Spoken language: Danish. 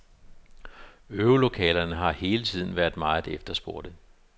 Øvelokalerne har hele tiden været meget efterspurgte.